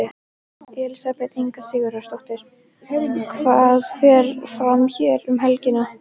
Elísabet Inga Sigurðardóttir: Hvað fer fram hér um helgina?